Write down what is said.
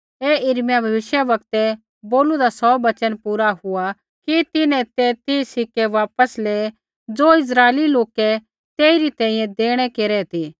ऐ यिर्मयाह भविष्यवक्तै बोलूदा सौ वचन पूरा हुआ कि तिन्हैं ते तीह सिक्कै वापस लेऐ ज़ो इस्राइली लोकै तेइरी तैंईंयैं देणै केरै ती